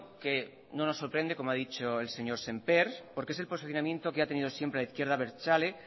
que no nos sorprende como ha dicho el señor semper porque es el posicionamiento que ha tenido siempre la izquierda abertzale